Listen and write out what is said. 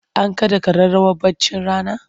An kaɗa ƙararrawar baccin rana?